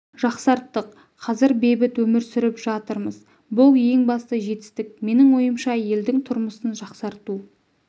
жақсарттық қазір бейбіт өмір сүріп жатырмыз бұл ең басты жетістік менің ойымша елдің тұрмысын жақсарту